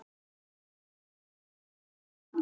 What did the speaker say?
Þeir standa enn.